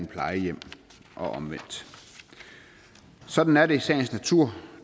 plejehjem eller omvendt sådan er det i sagens natur